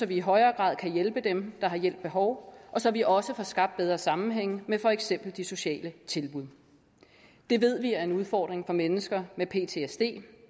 vi i højere grad kan hjælpe dem der har hjælp behov og så vi også får skabt bedre sammenhænge med for eksempel de sociale tilbud det ved vi er en udfordring for mennesker med ptsd